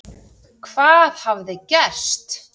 Hvað hafi gerst?